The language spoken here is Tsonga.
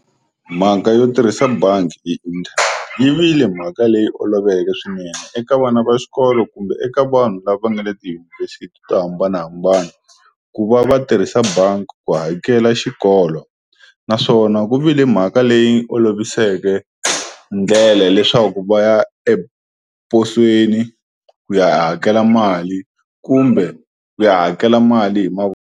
Mhaka yo tirhisa bangi yi vile mhaka leyi oloveke swinene eka vana va xikolo kumbe eka vanhu lava nga le tiyunivhesiti to hambanahambana ku va va tirhisa bangi ku hakela xikolo naswona ku vile mhaka leyi oloviseke ndlela leswaku va ya eposweni ku ya hakela mali kumbe ku ya hakela mali hi .